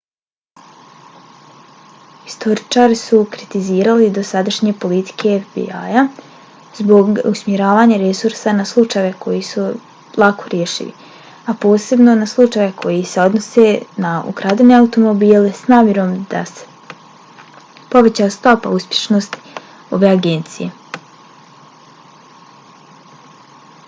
historičari su kritizirali dosadašnje politike fbi-ja zbog usmjeravanja resursa na slučajeve koji su lako rešivi a posebno na slučajeve koji se odnose na ukradene automobile s namjerom da se poveća stopa uspješnosti ove agencije